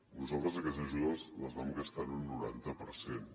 nosaltres aquestes ajudes les vam gastar en un noranta per cent